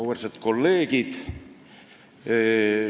Auväärsed kolleegid!